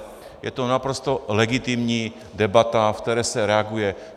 Je to naprosto legitimní debata, ve které se reaguje.